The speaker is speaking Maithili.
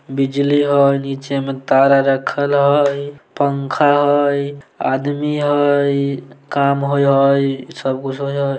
बिजली हई नीचे मे तार आर रखल हई इ पंखा हई इ आदमी हई इ काम होय हई इ सब कुछ होय हई।